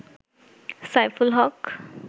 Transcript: Saiful Haque